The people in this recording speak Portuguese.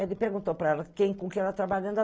Ele perguntou para ela quem, com quem ela estava trabalhando.